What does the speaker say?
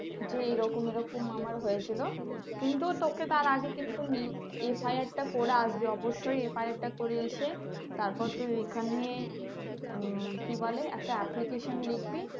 যে এরকম এরকম আমার হয়েছিল কিন্তু তোকে তার আগে কিন্তু FIR টা করে আসবি অবশ্যই FIR টা করে এসে তারপর তোর তুই ঐখানে, কি বলে একটা application লিখবি।